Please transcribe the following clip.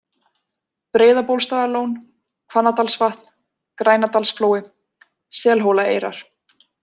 Breiðabólsstaðarlón, Hvannadalsvatn, Grænadalsflói, Selhólaeyrar